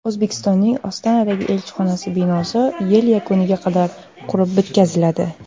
O‘zbekistonning Ostonadagi elchixonasi binosi yil yakuniga qadar qurib bitkaziladi.